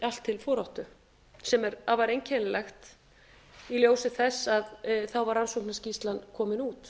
allt til foráttu sem er afar einkennilegt í ljósi þess að þá var rannsóknarskýrslan komin út